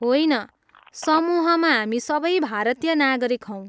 होइन, समूहमा हामी सबै भारतीय नागरिक हौँ।